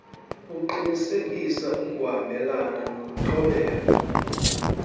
uqinisekisa ukuhambelana nokuthobela